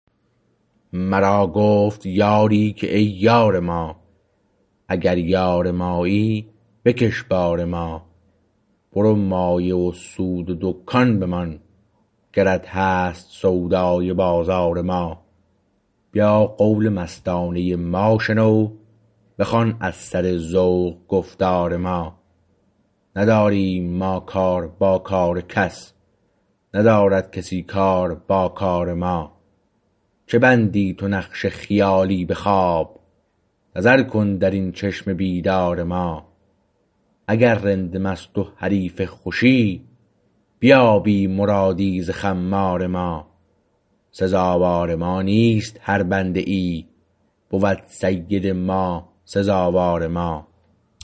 مرا گفت یاری که ای یار ما اگر یار مایی بکش بار ما برو مایه و سود دکان بمان گرت هست سودای بازار ما بیا قول مستانه ما شنو بخوان از سر ذوق گفتار ما نداریم ما کار با کار کس ندارد کسی کار با کار ما چه بندی تو نقش خیالی به خواب نظر کن درین چشم بیدار ما اگر رند مست و حریف خوشی بیابی مرادی ز خمار ما سزاوار ما نیست هر بنده ای بود سید ما سزاوار ما